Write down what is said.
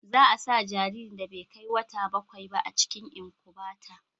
za a sa jaririn da bai kai wata bakwai ba a cikin inkubata